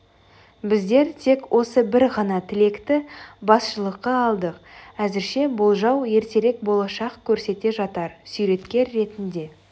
біздер тек осы бір ғана тілекті басшылыққа алдық әзірше болжау ертерек болашақ көрсете жатар суреткер ретінде